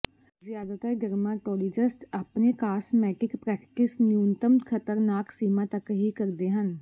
ਜ਼ਿਆਦਾਤਰ ਡਰਮਾਟੋਲਿਜਸਟ ਆਪਣੇ cosmetic practice ਨਿਊਨਤਮ ਖਤਰਨਾਕ ਸੀਮਾ ਤੱਕ ਹੀ ਕਰਦੇ ਹਨ